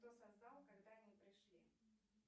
кто создал когда они пришли